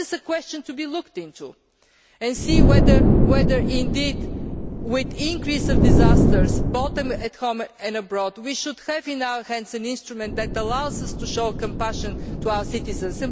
This is a question to be looked into to see whether indeed, with the increase in disasters both at home and abroad, we should have in our hands an instrument that allows us to show compassion to our citizens.